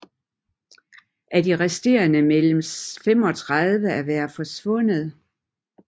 Af de resterende meldes 35 at være forsvundet